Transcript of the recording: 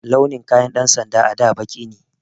Launin kayan 'yan sanda a da baƙi ne.